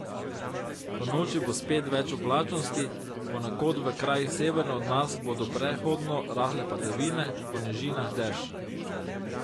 Ponoči bo spet več oblačnosti, ponekod v krajih severno od nas bodo prehodno rahle padavine, po nižinah dež.